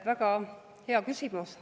Väga hea küsimus.